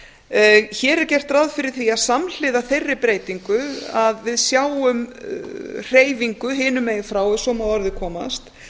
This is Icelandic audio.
hér er gert ráð fyrir því að samhliða þeirri breytingu sjáum við hreyfingu hinum megin frá ef svo má að orði komast